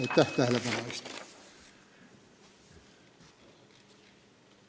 Aitäh tähelepanu eest!